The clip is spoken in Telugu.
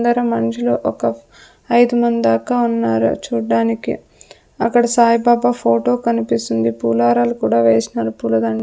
అందరూ మనుషులు ఒక ఐదు మంది దాకా ఉన్నారు చూడడానికి అక్కడ సాయిబాబా ఫోటో కనిపిస్తుంది పోలారాలు కూడా వేష్నారు పూల దండ.